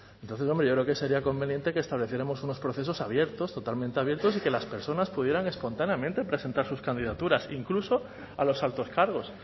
entonces hombre yo creo que sería conveniente que estableciéramos unos procesos abiertos totalmente abiertos y que las personas pudieran espontáneamente presentar sus candidaturas incluso a los altos cargos